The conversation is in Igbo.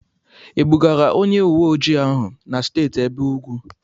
E bugara onye uwe ojii ahụ na Steeti ebe ugwu?